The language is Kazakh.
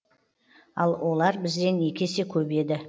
ал олар бізден екі есе көп еді